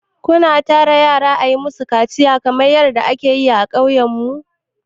Ku na tara yara a yi ma su kaciya kamar yadda a ke yi a ƙauyen mu?